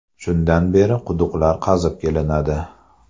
Shundan beri quduqlar qazib kelinadi.